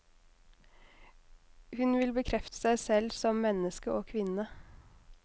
Hun vil bekrefte seg selv som menneske og kvinne.